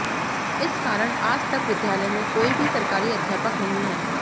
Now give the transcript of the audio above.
इस कारण आज तक विद्यालय में कोई भी सरकारी अध्यापक नहीं है